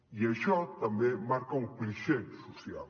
i això també marca un clixé social